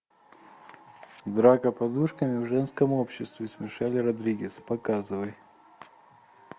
драка подушками в женском обществе с мишель родригес показывай